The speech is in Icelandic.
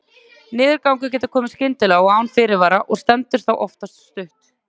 Niðurgangur getur komið skyndilega og án fyrirvara og stendur þá oftast stutt.